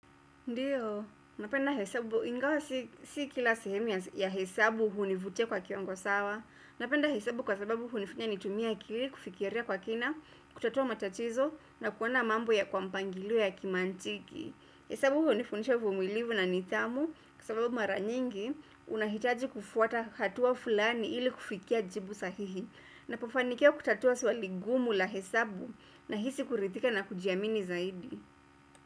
Ndiyo, napenda hesabu ingawa si kila sehemu ya hesabu hunivutia kwa kiwango sawa. Napenda hesabu kwa sababu hunifanya kutumia akili kufikiria kwa kina, kutatua matatizo na kuona mambo kwa mpangilio wa kimantiki. Hesabu hunifundisha uvumilivu na nidhamu kwa sababu mara nyingi unahitaji kufuata hatua fulani ili kufikia jibu sahihi. Ninapofanikiwa kutatua swali gumu la hesabu, nahisi kuridhika na kujiamini zaidi.